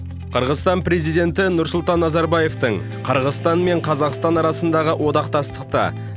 қырғызстан президенті нұрсұлтан назарбаевтың қырғызстан мен қазақстан арасындағы одақтастықты